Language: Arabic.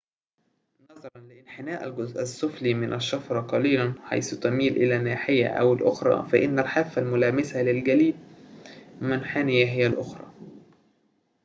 نظراً لانحناء الجزء السفلي من الشفرة قليلاً حيث تميل إلى ناحية أو الأخرى فإن الحافة الملامسة للجليد منحنية هي الأخرى